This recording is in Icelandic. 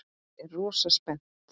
Ég er rosa spennt.